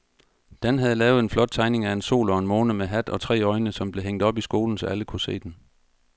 Dan havde lavet en flot tegning af en sol og en måne med hat og tre øjne, som blev hængt op i skolen, så alle kunne se den.